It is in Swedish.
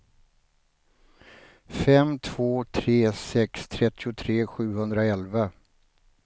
fem två tre sex trettiotre sjuhundraelva